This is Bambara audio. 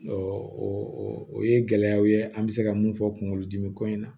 o ye gɛlɛyaw ye an bɛ se ka mun fɔ kunkolodimi ko in na